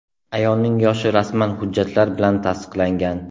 Ayolning yoshi rasman hujjatlar bilan tasdiqlangan.